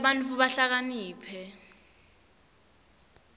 tenta bantfu bahlakaniphe